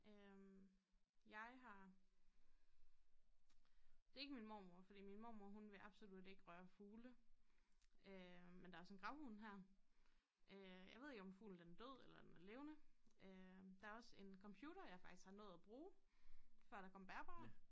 Øh jeg har det ikke min mormor fordi min mormor hun vil absolut ikke røre fugle øh men der sådan gravhund her øg jeg ved ikke om fuglen den død eller er den er levende øh der også en computer jeg faktisk har nået at bruge før der kom bærbare